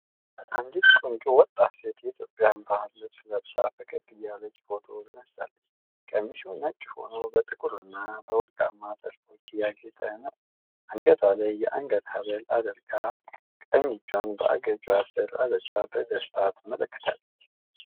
አንዲት ቆንጆ ወጣት ሴት የኢትዮጵያን ባህላዊ ልብስ ለብሳ ፈገግ እያለች ፎቶ ተነስታለች። ቀሚሱ ነጭ ሆኖ በጥቁር እና በወርቃማ ጥልፎች ያጌጠ ነው። አንገቷ ላይ የአንገት ሐብል አድርጋ፣ ቀኝ እጇን በአገጯ ስር አድርጋ በደስታ ትመለከታለች።